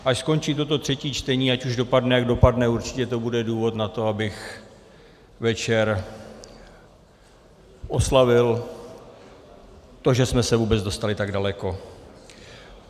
Až skončí toto třetí čtení, ať už dopadne, jak dopadne, určitě to bude důvod na to, abych večer oslavil to, že jsme se vůbec dostali tak daleko.